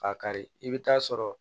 K'a kari i bɛ taa sɔrɔ